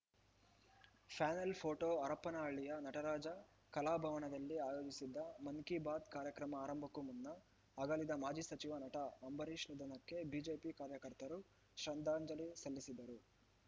panel photo ಹರಪನಹಳ್ಳಿಯ ನಟರಾಜ ಕಲಾಭವನದಲ್ಲಿ ಆಯೋಜಿಸಿದ್ದ ಮನ್‌ ಕೀ ಬಾತ್‌ ಕಾರ್ಯಕ್ರಮ ಆರಂಭಕ್ಕೂ ಮುನ್ನ ಅಗಲಿದ ಮಾಜಿ ಸಚಿವ ನಟ ಅಂಬರೀಶ ನಿಧನಕ್ಕೆ ಬಿಜೆಪಿ ಕಾರ್ಯಕರ್ತರು ಶ್ರದ್ದಾಂಜಲಿ ಸಲ್ಲಿಸಿದರು